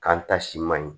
K'an ta si man ɲi